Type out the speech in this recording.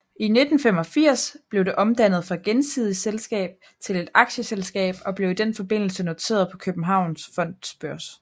I 1985 blev det omdannet fra gensidigt selskab til et aktieselskab og blev i den forbindelse noteret på Københavns Fondsbørs